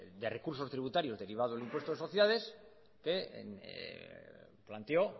de recursos tributarios derivado del impuesto de sociedades que planteó